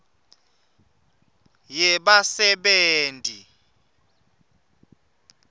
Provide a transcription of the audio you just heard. yebasebenti